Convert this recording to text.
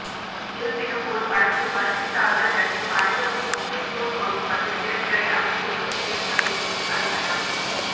இருப்பினும் ஒரு படத்தில் மல்டிஸ்டார்கள் நடித்தும் அனைவருக்கும் முக்கியத்துவம் கொடுக்கும் வகையில் திரைக்கதை அமைத்திருப்பது இயக்குனரின் புத்திசாலித்தனம்